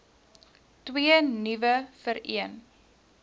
twee nuwe vereen